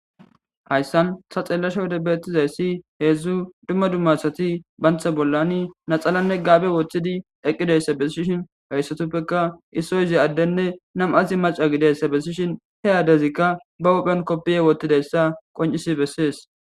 hayssan ta xeellasha wode beettizayssi heedzdzu dumma dumma asati banta bollani naxalanne gaabe woththidi eqqidayssa bessishin hayssatuppeka issoyzi addenne nam7azi maca gideyssa bessishin he addezikka ba uphphiyan koppiye wottidayssa qoncisi bessees